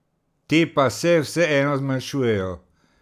Te pa se vseeno zmanjšujejo.